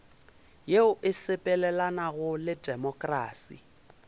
yeo e sepelelanago le temokrasi